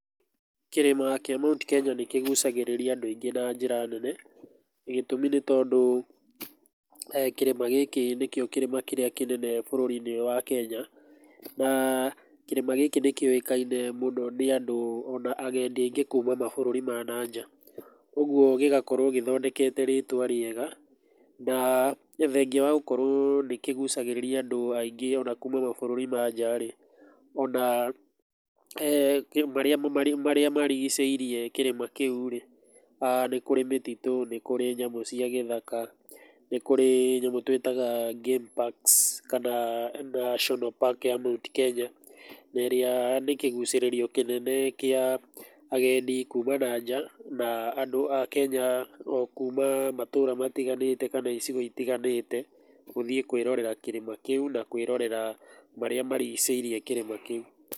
Kĩrĩma kĩa Mt Kenya nĩ kĩgucagĩrĩria andũ aingĩ na njĩra nene, gĩtũmi nĩ tondũ kĩrĩma gĩkĩ nĩkĩo kĩrĩma kĩrĩa kĩnene bũrũri-inĩ ũyũ wa Kenya, kĩrĩma gĩkĩ nĩ kĩũĩkaine mũno nĩ andũ o na agendi aingĩ kuuma mabũrũri ma na nja. Ũguo gĩgakorũo gĩthondekete rĩtwa rĩega, na thengia wa gũkorũo nĩ kĩgucagĩrĩria andũ aingĩ o na kuuma mabũrũri ma nja rĩ,o na marĩa marigicĩirie kĩrĩma kĩu rĩ, nĩ kũrĩ mĩtitũ, nĩ kũrĩ nyamũ cia gĩthaka, nĩ kũrĩ nyamũ tũĩtaga game parks kana national park ya Mt Kenya na ĩrĩa nĩ kĩgucĩrĩrio kĩnene kĩa agendi kuuma na nja, na andũ a Kenya o kuuma matũũra matiganĩte kana icigo itiganĩte, gũthiĩ kwĩrorera kĩrĩma kĩu na kwĩrorera marĩa marigicĩirie kĩrĩma kĩu.